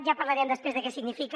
ja parlarem després de què significa